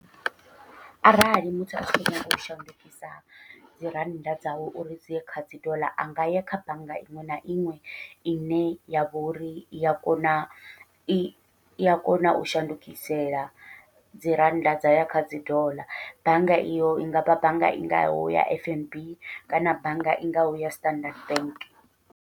Arali muthu a tshi kho nyaga u shandukisa dzi rannda dzawe uri dziye kha dzi doḽa a ngaya kha bannga iṅwe na iṅwe ine yavha uri iya kona i iya kona u shandukisela dzi rannda dzayo kha dzi doḽa, bannga iyo i ngavha bannga i ngaho ya F_N_B kana bannga i ngaho ya Standard Bank.